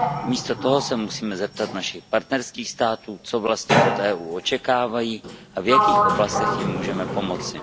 Místo toho se musíme zeptat našich partnerských států, co vlastně od EU očekávají a v jakých oblastech jim můžeme pomoci.